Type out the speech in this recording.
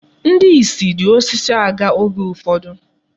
Ndị isi ji osisi aga oge ụfọdụ.